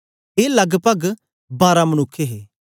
ए लगपग बारां मनुक्ख हे